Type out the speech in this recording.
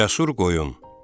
Cəsur qoyun.